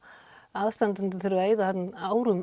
aðstandendur þurfa að eyða árum